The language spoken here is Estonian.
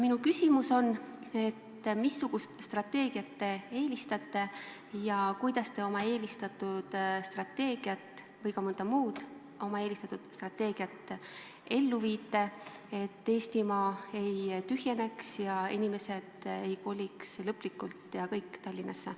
Minu küsimus on, missugust strateegiat te eelistate ja kuidas te oma eelistatud strateegiat ellu viite, et Eestimaa ei tühjeneks ja inimesed ei koliks lõplikult ja kõik Tallinnasse.